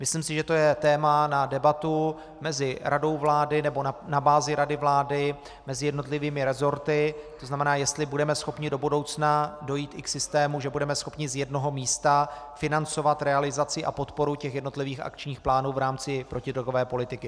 Myslím si, že to je téma na debatu mezi radou vlády nebo na bázi rady vlády mezi jednotlivými resorty, to znamená, jestli budeme schopni do budoucna dojít i k systému, že budeme schopni z jednoho místa financovat realizaci a podporu těch jednotlivých akčních plánů v rámci protidrogové politiky.